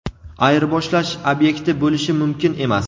ayirboshlash ob’ekti bo‘lishi mumkin emas.